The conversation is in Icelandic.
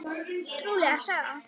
Trúleg saga það!